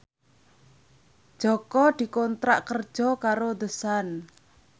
Jaka dikontrak kerja karo The Sun